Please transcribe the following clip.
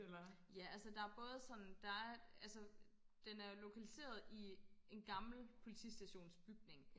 ja altså der er både sådan der er altså den er jo lokaliseret i en gammel politistations bygning